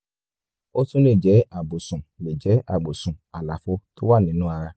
ó tún lè jẹ́ àbùsùn lè jẹ́ àbùsùn àlàfo tó wà nínú ara